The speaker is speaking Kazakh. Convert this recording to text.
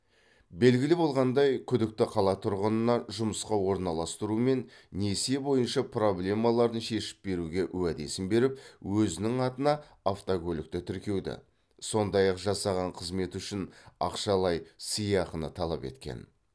белгілі болғандай күдікті қала тұрғынына жұмысқа орналастыру мен несие бойынша проблемаларын шешіп беруге уәдесін беріп өзінің атына автокөлікті тіркеуді сондай ақ жасаған қызметі үшін ақшалай сыйақыны талап еткен